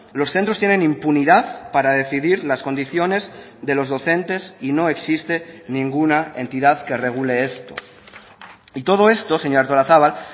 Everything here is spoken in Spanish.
los centros tienen impunidad para decidir las condiciones de los docentes y no existe ninguna entidad que regule esto y todo esto señora artolazabal